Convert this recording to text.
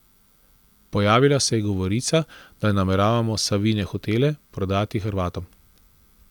Pojavila se je govorica, da nameravamo Savine hotele prodati Hrvatom.